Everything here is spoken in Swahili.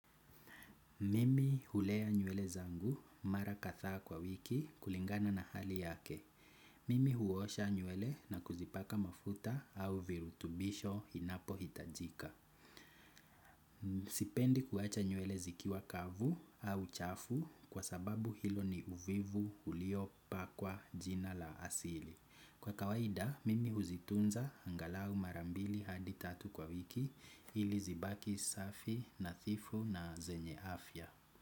Mimi hulea nywele zangu mara kadhaa kwa wiki kulingana na hali yake. Mimi huosha nywele na kuzipaka mafuta au virutubisho inapo hitajika. Sipendi kuacha nywele zikiwa kavu au chafu kwa sababu hilo ni uvivu ulio pakwa jina la asili. Kwa kawaida, mimi huzitunza angalau mara mbili hadi tatu kwa wiki ili zibaki safi nathifu na zenye afya.